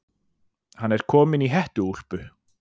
Hann er kominn í hettuúlpu.